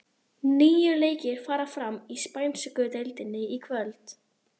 Níu leikir fara fram í spænsku deildinni í kvöld.